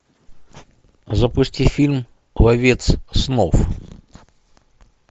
запусти фильм ловец снов